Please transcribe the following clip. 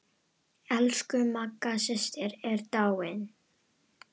Elsku Magga systir er dáin.